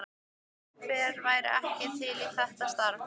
Hver væri ekki til í þetta starf?